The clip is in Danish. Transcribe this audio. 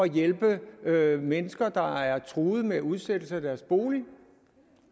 hjælpe mennesker der er truet med udsættelse af deres bolig